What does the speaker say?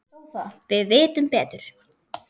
Við vitum betur.